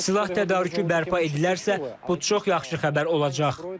Silah tədarükü bərpa edilərsə, bu çox yaxşı xəbər olacaq.